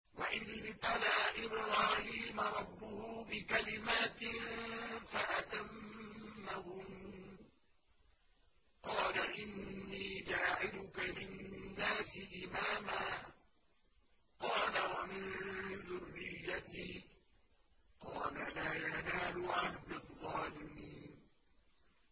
۞ وَإِذِ ابْتَلَىٰ إِبْرَاهِيمَ رَبُّهُ بِكَلِمَاتٍ فَأَتَمَّهُنَّ ۖ قَالَ إِنِّي جَاعِلُكَ لِلنَّاسِ إِمَامًا ۖ قَالَ وَمِن ذُرِّيَّتِي ۖ قَالَ لَا يَنَالُ عَهْدِي الظَّالِمِينَ